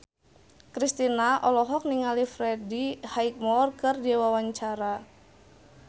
Kristina olohok ningali Freddie Highmore keur diwawancara